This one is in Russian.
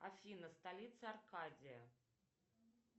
афина столица аркадия